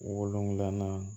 Wolonfila